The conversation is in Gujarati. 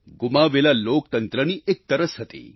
ગુમાવેલા લોકતંત્રની એક તરસ હતી